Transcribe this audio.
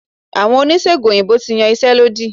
Àwọn Oníṣègùn òyìnbó ti yan iṣẹ́ lódì.